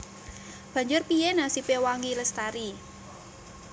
Banjur piyé nasibé Wangi Lestari